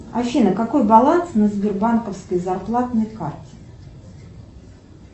афина какой баланс на сбербанковской зарплатной карте